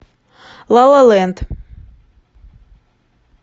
ла ла ленд